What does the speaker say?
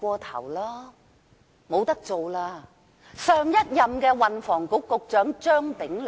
他就是上任運輸及房屋局局長張炳良。